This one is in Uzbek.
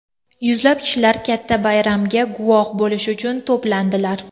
Yuzlab kishilar katta bayramga guvoh bo‘lish uchun to‘plandilar.